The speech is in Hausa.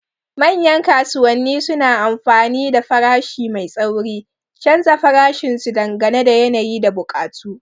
Manyan kasuwanni suna amfani da farashi mai tsauri, canza farashin su dangane da yanayi da buƙatu.